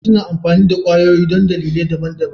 Likitoci suna amfani da kwayoyi don dalilai daban-daban.